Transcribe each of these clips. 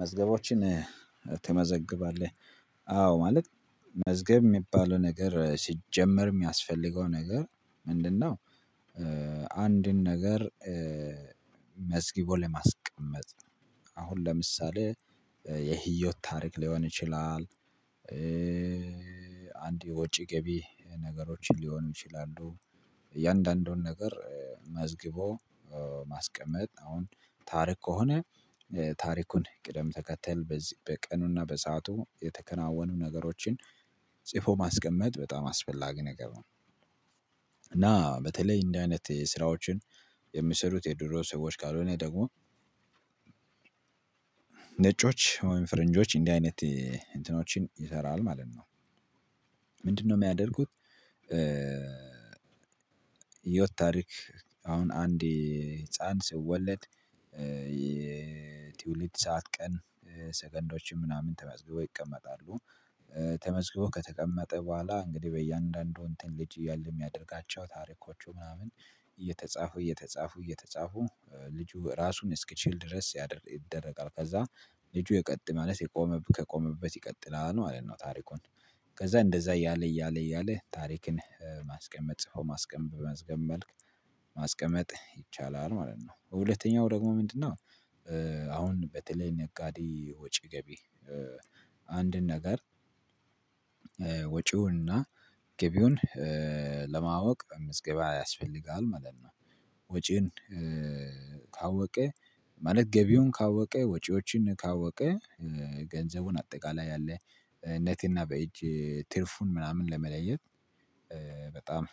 መዝገቦችን ትመዘግባለህ አዎ ማለት መዝገብ እሚባለው ነገር ሲጀመር የሚያስፈልገው ነገር ምንድነው? አንድን ነገር መዝግቦ ለማስቀመጥ አሁን ለምሳሌ የህይወት ታሪክ ሊሆን ይችላል እንደ የወጪ ገቢ ነገሮችን ሊሆኑ ይችላሉ እያንዳንዱን ነገር መዝግቦ ማስቀመጥ አሁን ታሪክ ከሆነ ታሪኩን ቅደም ተከተል በዚህ በቀኑና በሰአቱ የተከናወኑ ነገሮችን ጽፎ ማስቀመጥ በጣም አስፈላጊ ነገር ነው። እና በተለይ እንዲህ አይነት ስራዎችን የሚሰሩት የድሮ ሰዎች ካልሆነ ደግሞ ነጮች ወይም ፈረንጆች እንዲህ አይነት እንትኖችን ይሰራል ማለት ነው። ምንድነው? የሚያደርጉት የህይወት ታሪክ አሁን አንድ ህፃን ሲወለድ የትውልድ ሰዓት ቀን ሰከንዶችን ምናምን ተመዝግበው ይቀመጣሉ። ተመዝግበው ከተቀመጠ በኋላ እንግዲህ በእያንዳንዱ እንትን ልጅ እያለ የሚያደርጋቸው ታሪኮቹ ምናምን እየተጻፉ እየተጻፉ እየተጻፉ ልጁ ራሱን እስኪችል ድረስ ይደረጋል ከዛ ልጁ የቀጥ ማለት የቆመበት ከቆመበት ይቀጥላል ማለት ነው። ታሪኩን ከዛ እንደዛ እያለ እያለ እያለ ታሪክን ማስቀመጥ ጽፎ ማስቀመጥ በመዝገብ መልክ ማስቀመጥ ይቻላል ማለት ነው። ሁለተኛው ደግሞ ምንድነው? አሁን በተለይ ነጋዴ ወጪ ገቢ አንድን ነገር ወጭውንና ገቢውን ለማወቅ ምዝገባ ያስፈልጋል ማለት ነው። ወጪን ካወቀ ማለት ገቢውን ካወቀ ወጪዎችን ካወቀ ገንዘቡን አጠቃላይ ያለ ኔት እና በእጅ ትርፉን ምናምን ለመለየት በጣም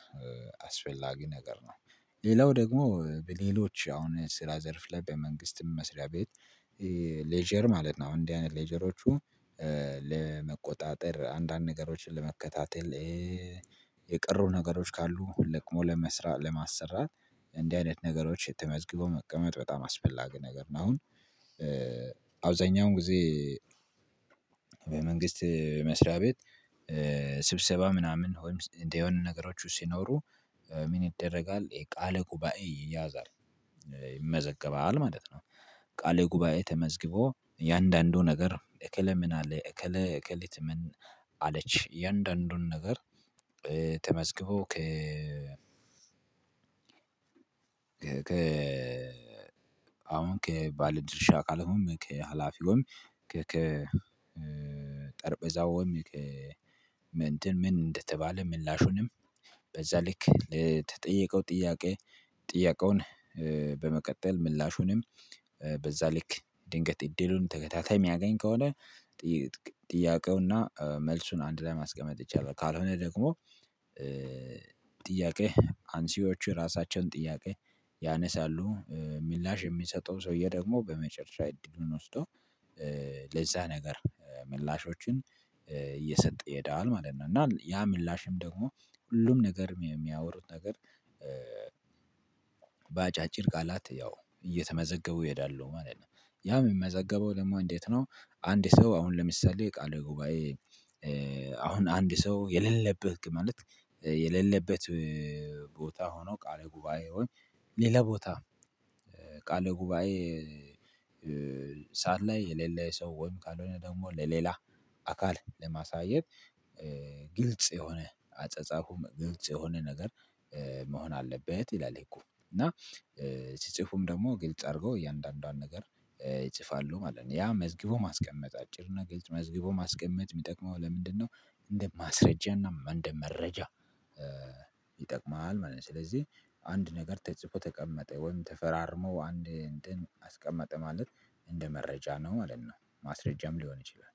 አስፈላጊ ነገር ነው። ሌላው ደግሞ በሌሎች አሁን ስራ ዘርፍ ላይ በመንግስትም መስሪያ ቤት ሌጀር ማለት ነው። አሁን እንዲህ አይነት ሌጀሮቹ ለመቆጣጠር አንዳንድ ነገሮችን ለመከታተል የቀሩ ነገሮች ካሉ ለቅሞ ለመስራ ለማሰራት እንዲህ አይነት ነገሮች ተመዝግበው መቀመጥ በጣም አስፈላጊ ነገር ነው። አሁን አብዛኛውን ጊዜ በመንግስት መስሪያ ቤት ስብሰባ ምናምን ወይም እንዲህ የሆኑ ነገሮች ሲኖሩ ምን ይደረጋል የቃለ ጉባኤ ይያዛል ይመዘገባል ማለት ነው። ቃለ ጉባኤ ተመዝግቦ እያንዳንዱ ነገር እከሌ ምን አለ እከሌ እከሌት ምን አለች አያንዳንዱን ነገር ተመዝግቦ ከ ከ አሁን ከባለድርሻ አካሉም ከሀላፊውም ከከ ጠረንቤዛውም ከ እንትን ምን እንደተባለ ምላሹንም በዛ ልክ ለተጠየቀው ጥያቄ ጥያቄውን በመቀጠል ምላሹንም በዛ ልክ ድንገት እድሉን ተከታታይ የሚያገኝ ከሆነ ጥያቄውና መልሱን አንድ ላይ ማስቀመጥ ይቻላል። ካልሆነ ደግሞ ጥያቄ አንሽዎቹ የራሳቸውን ጥያቄ ያነሳሉ ምላሽ የሚሰጠው ሰውዬ ደግሞ በመጨረሻ እድሉን ወስዶ ለዛ ነገር ምላሾችን እየሰጠ ይሄዳል ማለት ነው። እና ያ ምላሽም ደግሞ ሁሉም ነገር የሚያወሩት ነገር በአጫጭር ቃላት ያው እየተመዘገቡ ይሄዳሉ ማለት ነው። ያ የሚመዘገበው ደግሞ እንዴት ነው? አንድ ሰው አሁን ለምሳሌ ቃል ጉባኤ አሁን አንድ ሰው የሌለበት ማለት የሌለበት ቦታ ሆኖ ቃል ጉባኤውን ሌላ ቦታ ቃል ጉባኤ ሰዓት ላይ የሌለ ሰው ወይም ካልሆነ ደግሞ ለሌላ አካል ለማሳየት ግልጽ የሆነ አጸጻፉም ግልጽ የሆነ ነገር መሆን አለበት ይላል ህጉ እና ሲጽፉም ደግሞ ግልጽ አድርገው እያንዳንዷን ነገር ይጽፋሉ ማለት ነው። ያ መዝግቦ ማስቀመጥ አጭር እና ግልጽ መዝግቦ ማስቀመጥ የሚጠቅመው ለምንድነው? እንደ ማስረጃ እና እንደ መረጃ ይጠቅማል ማለት ነው። ስለዚህ አንድ ነገር ተጽፎ ተቀመጠ ወይም ተፈራርሞ አንድ እንትን አስቀመጠ ማለት እንደ መረጃ ነው ማለት ነው። ማስረጃም ሊሆን ይችላል